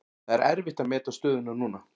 Það er erfitt að meta stöðuna núna.